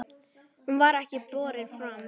Hún var ekki borin fram.